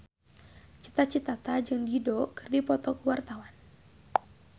Cita Citata jeung Dido keur dipoto ku wartawan